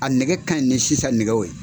A nɛgɛ ka ɲi sisan nɛgɛw ye.